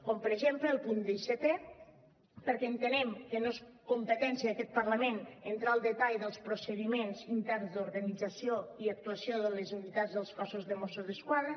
com per exemple el punt dissetè perquè entenem que no és competència d’aquest parlament entrar al detall dels procediments interns d’organització i actuació de les unitats del cos de mossos d’esquadra